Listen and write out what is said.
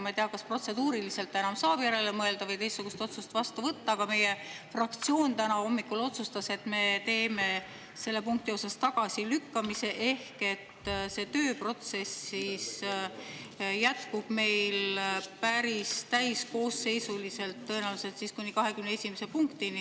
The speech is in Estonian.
Ma ei tea, kas protseduuriliselt enam saab järele mõelda või teistsugust otsust vastu võtta, aga meie fraktsioon täna hommikul otsustas, et me teeme selle punkti osas tagasilükkamise, ehk see tööprotsess jätkub meil päris täiskoosseisuliselt tõenäoliselt siis kuni 21. punktini.